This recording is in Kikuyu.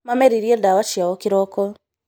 Mameriria ndawa ciao kĩroko